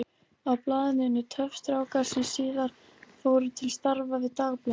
Á blaðinu unnu töff strákar sem síðar fóru til starfa við Dagblaðið.